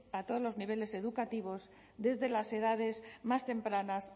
a todos los niveles educativos desde las edades más tempranas